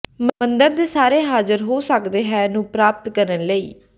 ਮੰਦਰ ਦੇ ਸਾਰੇ ਹਾਜ਼ਰ ਹੋ ਸਕਦਾ ਹੈ ਨੂੰ ਪ੍ਰਾਪਤ ਕਰਨ ਲਈ